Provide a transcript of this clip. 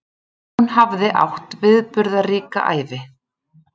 Hún hafði átt viðburðaríka ævi.